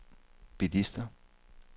bilister